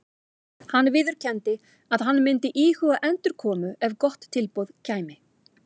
Hann viðurkenndi að hann myndi íhuga endurkomu ef gott tilboð kæmi.